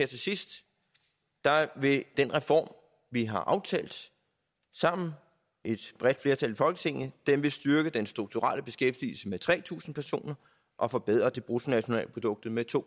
til sidst vil den reform vi har aftalt sammen et bredt flertal i folketinget styrke den strukturelle beskæftigelse med tre tusind personer og forbedre bruttonationalproduktet med to